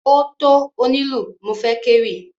Ó tó onílù mo fẹ́ kéwì.